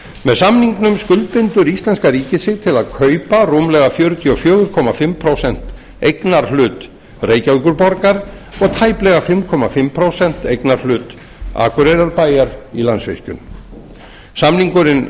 með samningnum skuldbindur íslenska ríkið sig til að kaupa rúmlega fjörutíu og fjögur og hálft prósent eignarhlut reykjavíkurborgar og tæplega fimm og hálft prósent eignarhlut akureyrarbæjar í landsvirkjun samningurinn